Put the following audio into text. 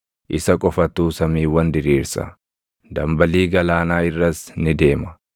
Isa qofatu samiiwwan diriirsa; dambalii galaanaa irras ni deema.